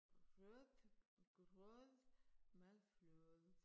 Rødgrød med fløde